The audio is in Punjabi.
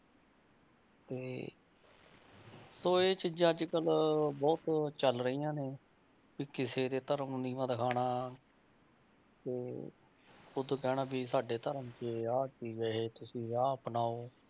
ਤੇ ਸੋ ਇਹ ਚੀਜ਼ਾਂ ਅੱਜ ਕੱਲ੍ਹ ਬਹੁਤ ਚੱਲ ਰਹੀਆਂ ਨੇ ਵੀ ਕਿਸੇ ਦੇ ਧਰਮ ਨੂੰ ਨੀਵਾਂ ਦਿਖਾਉਣਾ ਤੇ ਉੱਤੋਂ ਕਹਿਣਾ ਵੀ ਸਾਡੇ ਧਰਮ 'ਚ ਆਹ ਸੀਗੇ ਤੁਸੀਂ ਆਹ ਅਪਣਾਓ